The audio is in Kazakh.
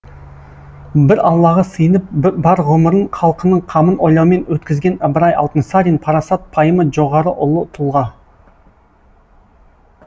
бір аллаға сыйынып бар ғұмырын халқының қамын ойлаумен өткізген ыбырай алтынсарин парасат пайымы жоғары ұлы тұлға